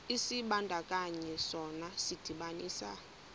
isibandakanyi sona sidibanisa